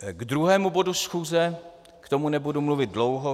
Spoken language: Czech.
K druhému bodu schůze, k tomu nebudu mluvit dlouho.